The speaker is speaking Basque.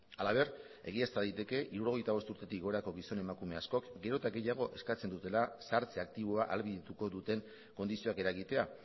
halaber egiazta daiteke hirurogeita bost urtetik gorako gizon emakume askok gero eta gehiago eskatzen dutela zahartze aktiboa ahalbidetuko duten kondizioak eragitea